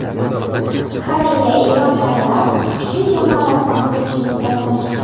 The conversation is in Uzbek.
Koreya, Eron kabilar kuchli jamoalarni mag‘lub etishning uddasidan chiqdi.